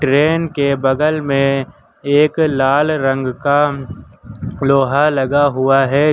Train के बगल में एक लाल रंग का लोहा लगा हुआ है।